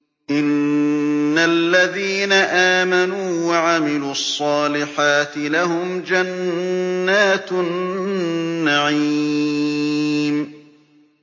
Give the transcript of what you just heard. إِنَّ الَّذِينَ آمَنُوا وَعَمِلُوا الصَّالِحَاتِ لَهُمْ جَنَّاتُ النَّعِيمِ